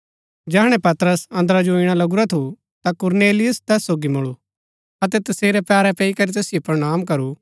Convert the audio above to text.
जैहणै पतरस अंदरा जो ईणा लगुरा थु ता कुरनेलियुस तैस सोगी मुळू अतै तसेरै पैरै पैई करी तैसिओ प्रणाम करू